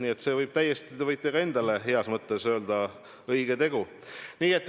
Nii et te võite ka endale heas mõttes öelda: õige tegu!